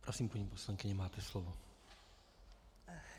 Prosím, paní poslankyně, máte slovo.